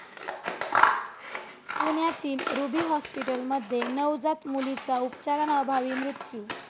पुण्यातील रुबी हॉस्पिटलमध्ये नवजात मुलीचा उपचाराअभावी मृत्यू